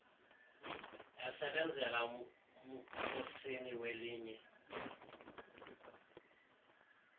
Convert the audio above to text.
esebenzela umkhosini welinye